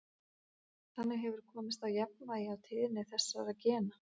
Þannig hefur komist á jafnvægi á tíðni þessara gena.